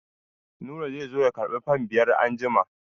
Nura zai zo ya karɓi fan biyar anjima.